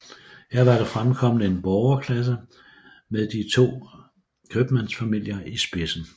Her var der fremkommet en borgerklasse med de to købmandsfamilier i spidsen